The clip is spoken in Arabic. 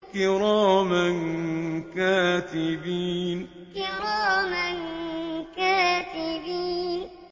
كِرَامًا كَاتِبِينَ كِرَامًا كَاتِبِينَ